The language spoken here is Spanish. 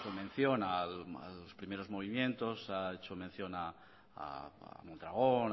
mención a los primeros movimientos ha hecho mención a mondragón